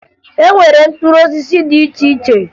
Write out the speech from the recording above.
E nwere mkpụrụ osisi dị iche iche